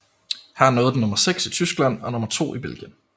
Her nåede den nummer 6 i Tyskland og nummer 2 i Belgien